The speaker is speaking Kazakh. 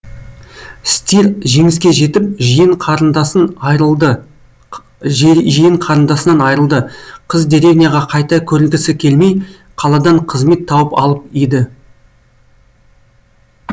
стир жеңіске жетіп жиен қарындасын айырылды жиен қарындасынан айырылды қыз деревняға қайта көрінгісі келмей қаладан қызмет тауып алып еді